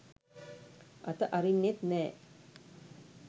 අත අරින්නෙත් නෑ.